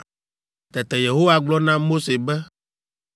Tete Yehowa gblɔ na Mose be,